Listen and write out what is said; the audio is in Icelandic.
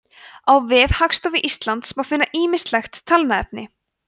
á vef hagstofu íslands má finna ýmislegt talnaefni